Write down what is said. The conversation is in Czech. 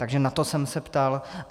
Takže na to jsem se ptal.